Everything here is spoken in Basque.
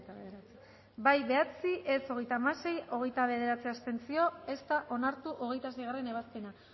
bederatzi boto aldekoa hogeita hamasei contra hogeita bederatzi abstentzio ez da onartu hogeita seigarrena ebazpena